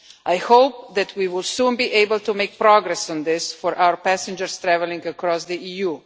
I hope that we will soon be able to make progress on this for our passengers travelling across the EU.